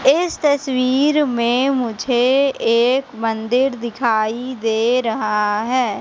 इस तस्वीर में मुझे एक मंदिर दिखाई दे रहा है।